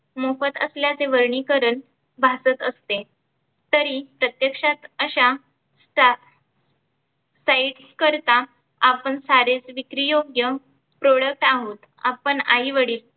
मोफत असल्याचे वर्गिकरण भासत असते. तरी प्रत्यक्षात अशा चा sites करिता आपण सारे विक्री योग्य products आहोत. आपण आई वडील